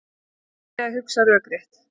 Hann reyndi að hugsa rökrétt.